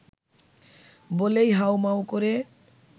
বলেই হাউমাউ করে